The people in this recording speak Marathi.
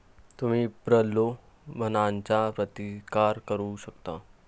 तुम्ही प्रलोभनाचा प्रतिकार करू शकता!